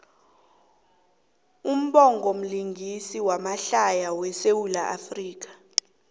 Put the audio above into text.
ubhongo mlingisi wamahlaya we sawula afrika